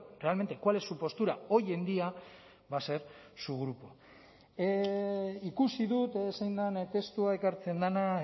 realmente cuál es su postura hoy en día va a ser su grupo ikusi dut zein den testua ekartzen dena